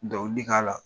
Dɔnkili k'a la